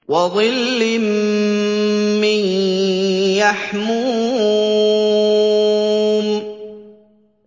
وَظِلٍّ مِّن يَحْمُومٍ